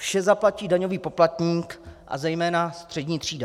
Vše zaplatí daňový poplatník a zejména střední třída.